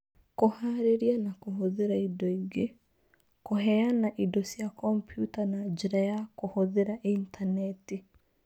Kũhaarĩria na kũhũthĩra indo ingĩ: kũheana indo cia kompiuta na njĩra ya kũhũthĩra intaneti.